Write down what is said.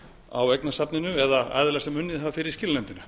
á eignasafninu eða aðila sem unnið hafa fyrir skilanefndina